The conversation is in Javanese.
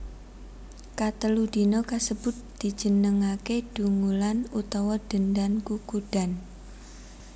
Katelu dina kasebut dijenengaké Dungulan utawa Dendan Kukudan